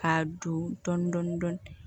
K'a don dɔɔnin dɔɔnin